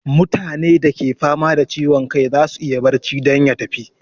Mutane da ke fama da ciwon kai zasu iya barci don ya tafi